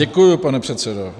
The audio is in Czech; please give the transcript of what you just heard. Děkuji, pane předsedo.